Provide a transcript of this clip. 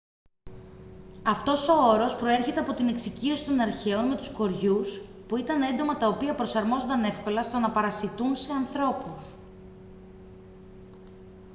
αυτός ο όρος προέρχεται από την εξοικείωση των αρχαίων με τους κοριούς που ήταν έντομα τα οποία προσαρμόζονταν εύκολα στο να παρασιτούν σε ανθρώπους